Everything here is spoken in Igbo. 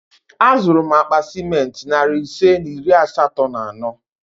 Azụrụ m akpa ciment narị ise na iri asatọ na ano